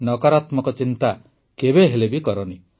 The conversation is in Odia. ନକାରାତ୍ମକ ଚିନ୍ତା କେବେହେଲେ କରନି